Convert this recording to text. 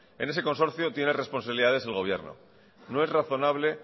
en ese consorcio tiene responsabilidades el gobierno no es razonable